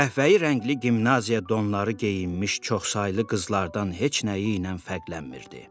Qəhvəyi rəngli gimnaziya donları geyinmiş çoxsaylı qızlardan heç nəyi ilə fərqlənmirdi.